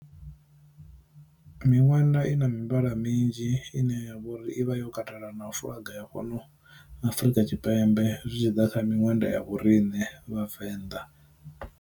Minwenda i na mivhala minzhi ine ya vhori i vha yo katela na u fuḽaga ya fhano Afrika Tshipembe zwi tshi ḓa kha miṅwenda ya vhorine vhavenḓa.